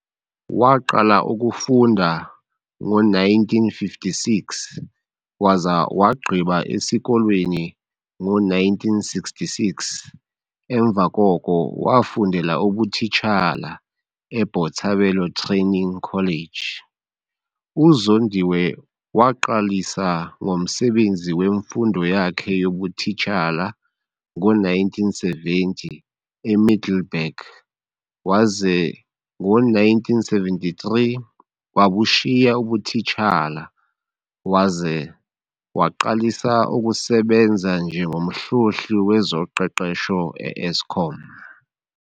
Waqala ukufunda ngo-1956 waza wagqiba esikolweni ngo-1966 emva koko wafundela ubutitshala eBotshabelo Training College. UZondiwe waqalisa ngomsebenzi wemfundo yakhe yobutitshala ngo-1970 eMiddelburg waze ngo-1973 wabushiya ubutitshala waze waqalisa ukusebenza njengoMhlohli wezoQeqesho e-Eskom.